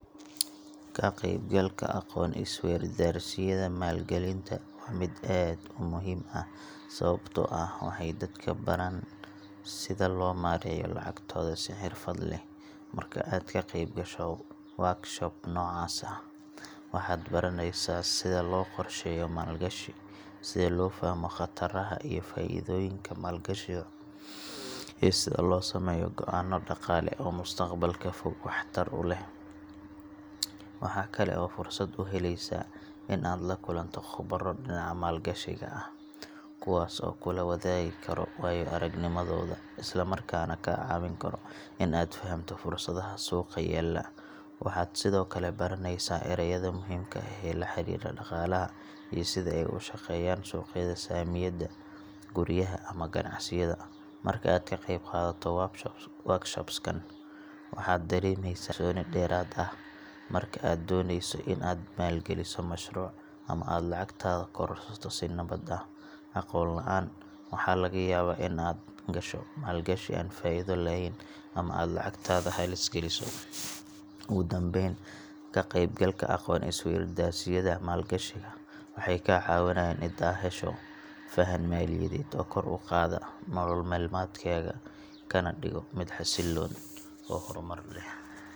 Ka qeybgalka aqoon-is-weydaarsiyada maalgelinta waa mid aad u muhiim ah sababtoo ah waxay dadka baraan sida loo maareeyo lacagtooda si xirfad leh. Marka aad ka qeybgasho workshop noocaas ah, waxaad baraneysaa sida loo qorsheeyo maalgashi, sida loo fahmo khataraha iyo faa’iidooyinka maalgashiga, iyo sida loo sameeyo go’aanno dhaqaale oo mustaqbalka fog wax tar u leh. Waxa kale oo aad fursad u helaysaa in aad la kulanto khubaro dhinaca maalgashiga ah, kuwaas oo kula wadaagi kara waayo-aragnimadooda, isla markaana kaa caawin kara in aad fahamto fursadaha suuqa yaalla. Waxaad sidoo kale baranaysaa erayada muhiimka ah ee la xiriira dhaqaalaha iyo sida ay u shaqeeyaan suuqyada saamiyada, guryaha, ama ganacsiyada. Marka aad ka qeybqaadato workshops kan, waxaad dareemeysaa kalsooni dheeraad ah marka aad dooneyso in aad maalgeliso mashruuc ama aad lacagtaada kororsato si nabad ah. Aqoon la’aan waxaa laga yaabaa in aad gasho maalgashi aan faa’iido lahayn ama aad lacagtaada halis geliso. Ugu dambayn, ka qeybgalka aqoon-is-weydaarsiyada maalgashiga waxay kaa caawinayaan in aad hesho fahan maaliyadeed oo kor u qaada nolol maalmeedkaaga, kana dhigo mid xasilloon oo horumar leh.